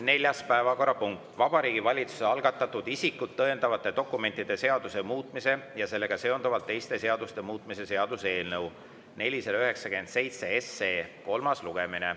Neljas päevakorrapunkt on Vabariigi Valitsuse algatatud isikut tõendavate dokumentide seaduse muutmise ja sellega seonduvalt teiste seaduste muutmise seaduse eelnõu 497 kolmas lugemine.